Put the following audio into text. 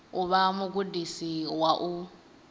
u vha mugudisi wa u